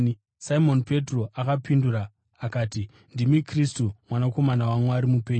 Simoni Petro akapindura akati, “Ndimi Kristu, Mwanakomana waMwari mupenyu.”